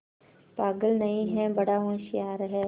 पागल नहीं हैं बड़ा होशियार है